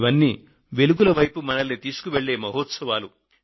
ఇవన్నీ వెలుగుల వైపు మనల్ని తీసుకువెళ్లే మహోత్సవాలు